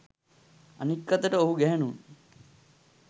අනෙක් අතට ඔහු ගැහැණුන්